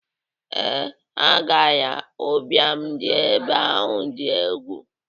Ee, ha gara. Ụbiam dị ebe ahụ dị egwu.